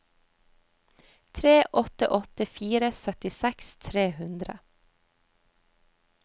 tre åtte åtte fire syttiseks tre hundre